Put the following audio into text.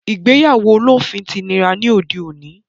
Ìgbéyàwó olóòfin ti nira ní òde òní